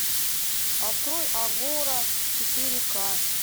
открой агора четыре ка